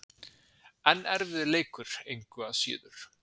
En erfiður leikur, engu að síður.